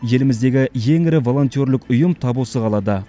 еліміздегі ең ірі волентерлік ұйым тап осы қалада